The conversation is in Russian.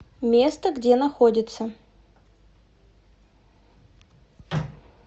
место где находится